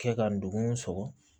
Kɛ ka ndugun sɔgɔ